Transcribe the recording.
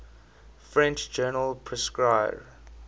french journal prescrire